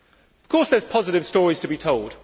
Of course, there are positive stories to be told.